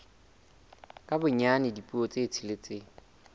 ka bonyane dipuo tse tsheletseng